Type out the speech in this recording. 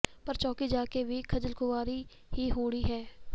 ਪਰ ਚੌਕੀ ਜਾ ਕੇ ਵੀ ਖੱਜਲਖੁਆਰੀ ਹੀ ਹੋਣੀ ਹੈ